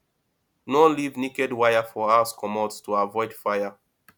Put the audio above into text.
no leave naked wire for house comot to avoid fire